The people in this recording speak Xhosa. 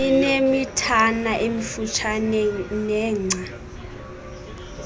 inemithana emifutshane nengca